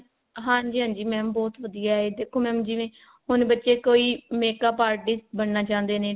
ਹਾਂਜੀ ਹਾਂਜੀ mam ਬਹੁਤ ਵਧੀਆ ਹੈ ਦੇਖੋ mam ਜਿਵੇਂ ਹੁਣ ਬੱਚੇ ਕੋਈ makeup artist ਬਣਨਾ ਚਾਹੁੰਦੇ ਨੇ